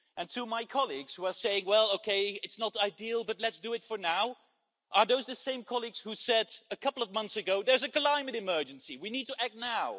And to my colleagues who are saying well, okay, it's not ideal but let's do it for now are those the same colleagues who said a couple of months ago there's a climate emergency, we need to act now'?